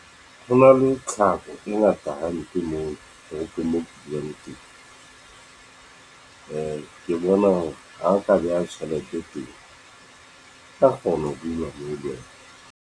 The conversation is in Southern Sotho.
Ho na le thapo e ngata hampe moo teng. Ke bona hore ha o ka beha tjhelete teng, ka kgona ho beuwa moo le yena.